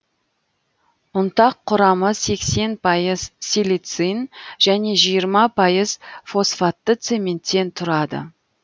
ұнтақ құрамы сексен пайыз силицин және жиырма пайыз фосфатты цементтен тұрады